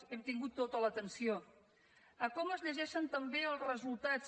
hem tingut tota l’atenció a com es llegeixen també els resultats